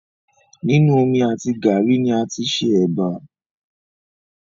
Nínu omi àti gàárì ni a tí ṣe ẹbà